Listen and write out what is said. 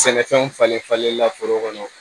Sɛnɛfɛnw falenlen falen la foro kɔnɔ